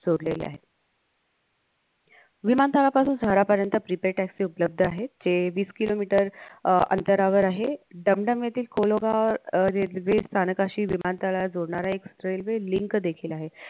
जोडलेलं आहे विमानतळापासून शहरापर्यंत prepaid taxi उपलब्ध आहे जे वीस kilometer अह अंतरावर आहे डमडम येथील कोलोबर railway स्थानकाशी विमानतळाला जोडणारा एक railway link ेखील आहे